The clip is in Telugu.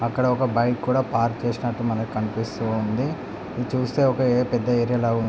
అక్కడ ఒక బైక్ కూడా పార్క్ చేసినట్టు మనకి కనిపిస్తుంది. ఇది చూస్తే ఒక పెద్ద ఏరియా లాగా ఉం--